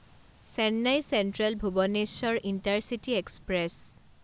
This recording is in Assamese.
Chennai central Bhubaneswar intercity express